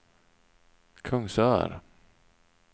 Kungsör